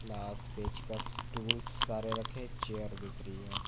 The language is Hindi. पिलास पेचकस टूल्स सारे रखे एक चेयर दिख रही है।